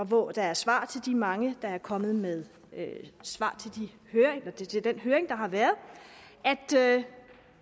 hvor der er svar til de mange der er kommet med svar til den høring der har været